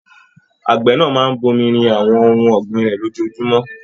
Àgbẹ̀ náà máa n bomirin àwọn ohùn ọ̀gbìn rẹ lójoojúmọ́.